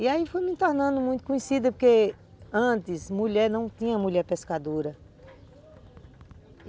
E aí fui me tornando muito conhecida, porque antes mulher não tinha mulher pescadora.